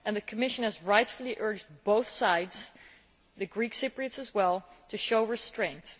The Commission has rightfully urged both sides the Greek Cypriots as well to show restraint.